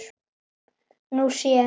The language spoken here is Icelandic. Nú sé